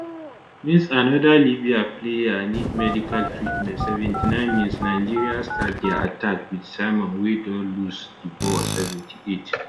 mins anoda libya player need medical treatment 79 minsnigeria start dia attack wit simon wey don lose di ball 78